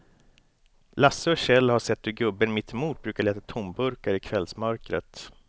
Lasse och Kjell har sett hur gubben mittemot brukar leta tomburkar i kvällsmörkret.